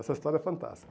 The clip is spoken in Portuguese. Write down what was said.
Essa história é fantástica.